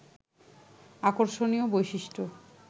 আকর্ষণীয় বৈশিষ্ট্য